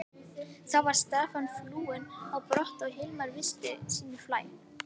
Þá var Stefán flúinn á brott og Hilmar viti sínu fjær.